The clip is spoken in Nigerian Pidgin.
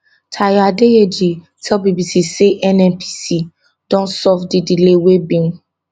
tayo adeyeji tell bbc say nnpc don solve di delay wey bin